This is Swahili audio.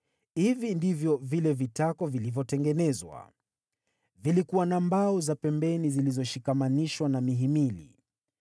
Hivi ndivyo vile vitako vilivyotengenezwa: Vilikuwa na mbao za pembeni zilizoshikamanishwa na mihimili.